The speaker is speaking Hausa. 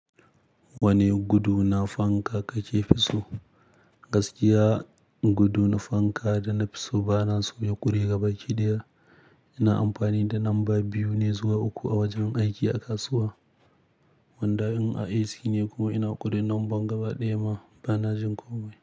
Wane gudu na fanka kake so? Gaskiya, gudu na fanka da na fiso bana so ya ƙure gaba ɗaya. Ina amfani da lamba biyu ne zuwa uku a wajen aiki a kasuwa, wanda in a AC ne kuma ina ƙure lambar gaba ɗaya ma bana jin komai.